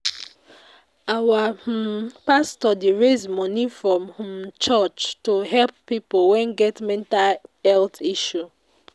Our um pastor dey raise moni from um church to um help pipo wey get mental health issue.